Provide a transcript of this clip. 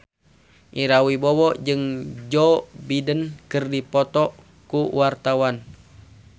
Ira Wibowo jeung Joe Biden keur dipoto ku wartawan